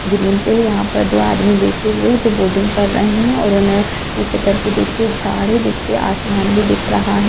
Green पे है यहां दो आदमी बैठे हुए हैजो बोटिंग कर रहे है और इन्होंने पीछे तरफ भी देखिए झाड़ है जिसपे आसमान भी दिख रहा है।